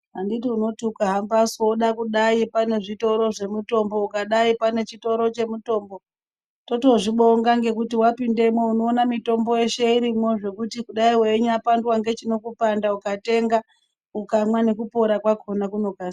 Anditi unoti ukahamba su woda kudai pane zvitoro zvemitombo, ukadai pane chitoro chemitombo, totozvibonga ngekuti wapindamwo unoona mitombo yeshe irimwo zvekuti kudai weinyapandwa ngechinokupanda, ukatenga, ukamwa nekupora kwakona kunokasira.